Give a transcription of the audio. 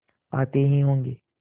आते ही होंगे